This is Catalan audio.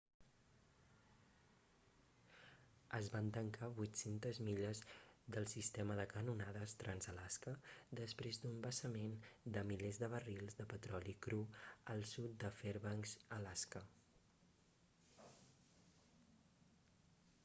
es van tancar 800 milles del sistema de canonades trans-alaska després d'un vessament de milers de barrils de petroli cru al sud de fairbanks alaska